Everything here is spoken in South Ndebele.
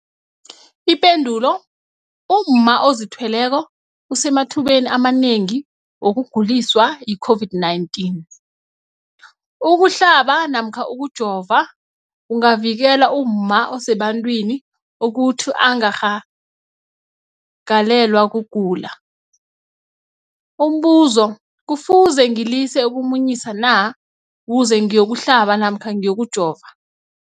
Ipendulo, umma ozithweleko usemathubeni amanengi wokuguliswa yi-COVID-19. Ukuhlaba namkha ukujova kungavikela umma osebantwini ukuthi angarhagalelwa kugula. Umbuzo, kufuze ngilise ukumunyisa na ukuze ngiyokuhlaba namkha ngiyokujova?